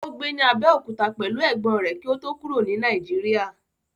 Ó gbé ní Abẹ́òkúta pẹ̀lú ẹ̀gbọ́n rẹ̀ kí ó tó kúrò ní Nàìjíríà.